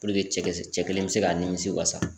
Puruke cɛ kɛlɛn cɛ kelen bɛ se k'a nimisi wasa.